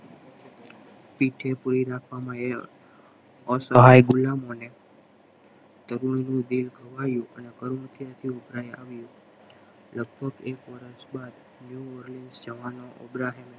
પીઠે પૂરી રાખવામાં આ સહાય ગુલામ અને તરુણ નું દેહ ગવાયું આવ્યો લગભગ એક વર્ષ બાદ જવાનો અબ્રાહિમ